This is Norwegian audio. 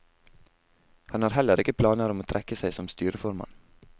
Han har heller ikke planer om å trekke seg som styreformann.